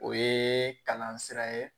O ye kalan sira ye